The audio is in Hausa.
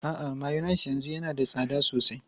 A'a, mayonnaise yanzu yana da tsada sosai.